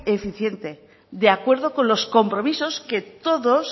eficiente de acuerdo con los compromisos que todos